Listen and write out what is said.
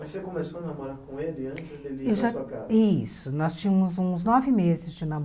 Mas você começou a namorar com ele antes dele ir para a sua casa? Isso, nós tínhamos uns nove meses de